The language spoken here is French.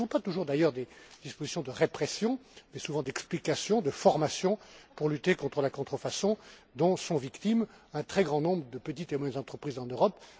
Il ne s'agit pas toujours d'ailleurs de dispositions de répression, mais souvent d'explication, de formation, pour lutter contre la contrefaçon dont sont victimes un très grand nombre de petites et moyennes entreprises en Europe.